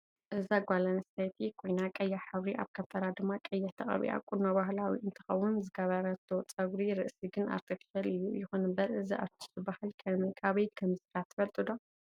እዚ ጋል ኣንስተይቲ ኮይና ቀያሕ ሕብሪ ኣብ ከንፈራ ድማ ቀይሕ ተቀብኣ ቁኖ በህላዊ እ ንትከውን ዝገበሮቶ ፅግሪ ርእስ ግን ኣርተፍሻል እዩ ይኩን እንበር እዚ ኣርትሽ ዝበሃል ከበይ ከምዝስራሕ ትፈልጥዶ?